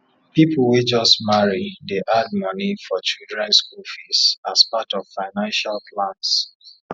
people wey just marry dey add money for children school fees as part of financial plans